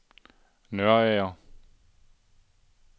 Nørager